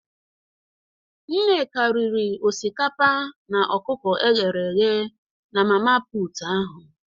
Nneka riri osikapa na okuko eghere eghe na mama put ahụ